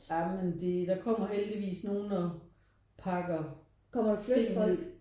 Ja men det der kommer heldigvis nogen og pakker ting ned